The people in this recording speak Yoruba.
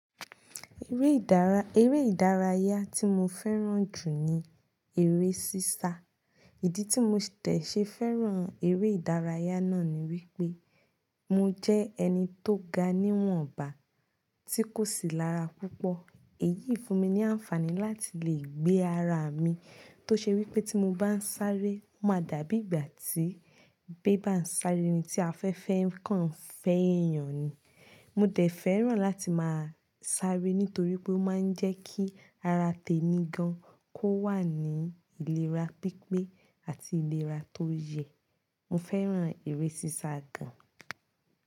Eré ìdárayá tí mo fẹ́ràn jù ní eré sisa. Ìdí tí mo tẹ̀ṣe fẹ́ràn eré ìdárayá náà ni wípé, mo jẹ́ ẹni tó ga ní wọ̀nba tí kò sì lára púpọ̀. Èyí fún mi ní àǹfààní láti lè gbé ara mi tó ṣe wípé tí mo bá ń sáré, ó máa dàbí ìgbà tí bébà ń sáré ni tí afẹ́fẹ́ kan ń fẹ́ èèyàn ni. Mo dẹ̀ fẹ́ràn láti máa sáré nítorí pé ó máa ń jẹ́ kí ara tèmi gan kó wà ní ìlera pípé àti ìlera tó yẹ. Mo fẹ́ràn eré sisa gan.